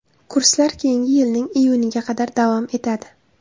Kurslar keyingi yilning iyuniga qadar davom etadi.